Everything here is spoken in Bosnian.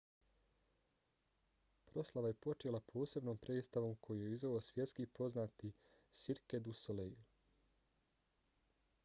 proslava je počela posebnom predstavom koju je izveo svjetski poznati cirque du soleil